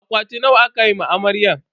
Akwati nawa aka ma amaryar?